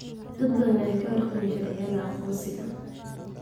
Dad badan ayaan ka warqabin sharciyada aqoonsiga.